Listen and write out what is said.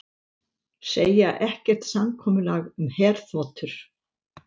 Segja ekkert samkomulag um herþotur